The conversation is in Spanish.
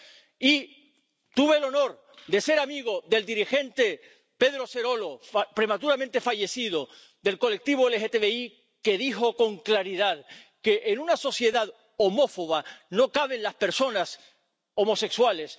Y tuve el honor de ser amigo del dirigente Pedro Zerolo, prematuramente fallecido, del colectivo LGBTI, que dijo con claridad que en una sociedad homófoba no caben las personas homosexuales...